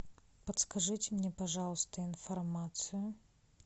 подскажите мне пожалуйста информацию